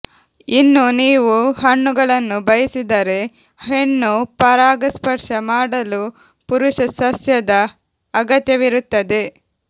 ಇನ್ನೂ ನೀವು ಹಣ್ಣುಗಳನ್ನು ಬಯಸಿದರೆ ಹೆಣ್ಣು ಪರಾಗಸ್ಪರ್ಶ ಮಾಡಲು ಪುರುಷ ಸಸ್ಯದ ಅಗತ್ಯವಿರುತ್ತದೆ